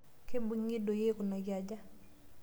Keibung'e doi aikunaki aja?